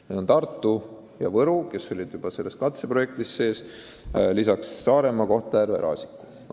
Need on Tartu ja Võru, kes olid juba katseprojektis sees, lisaks Saaremaa, Kohtla-Järve ja Raasiku.